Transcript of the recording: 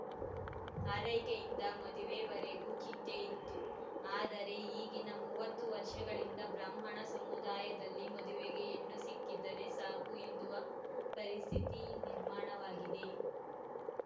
ಆರೈಕೆಯಿಂದ ಮದುವೆವರೆಗೂ ಚಿಂತೆಯಿತ್ತು ಆದರೆ ಈಗಿನ ಮೂವತ್ತು ವರ್ಷಗಳಿಂದ ಬ್ರಾಹ್ಮಣ ಸಮುದಾಯದಲ್ಲಿ ಮದುವೆಗೆ ಹೆಣ್ಣು ಸಿಕ್ಕಿದರೆ ಸಾಕು ಎನ್ನುವ ಪರಿಸ್ಥಿತಿ ನಿರ್ಮಾಣವಾಗಿದೆ